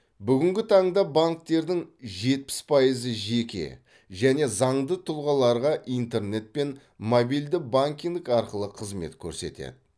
бүгінгі таңда банктердің жетпіс пайызы жеке және заңды тұлғаларға интернет пен мобильді банкинг арқылы қызмет көрсетеді